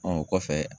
Ɔ o kɔfɛ